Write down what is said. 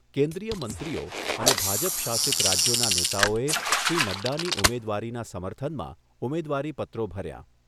કેન્દ્રીય મંત્રીઓ અને ભાજપ શાસિત રાજ્યોના નેતાઓએ શ્રી નડ્ડાની ઉમેદવારીના સમર્થનમાં ઉમેદવારીપત્રો ભર્યાં